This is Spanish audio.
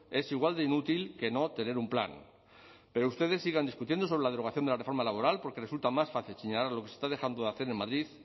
es igual de inútil que no tener un plan pero ustedes sigan discutiendo sobre la derogación de la reforma laboral porque resulta más fácil señalar lo que se está dejando de hacer en madrid